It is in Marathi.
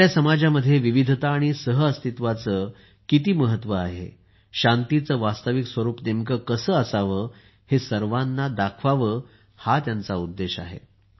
आपल्या समाजात विविधता आणि सहअस्तित्वाचे किती महत्त्व आहे शांतीचे वास्तविक स्वरूप नेमके कसे असावे हे सर्वाना दाखवावे हा त्यांचा उद्देश आहे